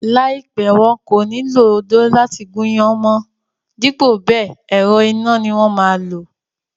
Láìpẹ́, wọn kò ní lo odó láti gún iyán mọ́n dípò bẹẹ̀, ẹ̀rọ iná ni wón máa lò.